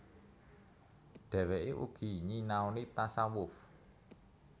Dhèwèké uga nyinaoni tasawuf